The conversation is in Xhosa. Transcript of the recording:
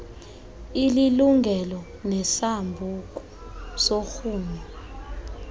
ililungelo nesambuku sorhumo